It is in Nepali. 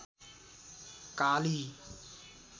काली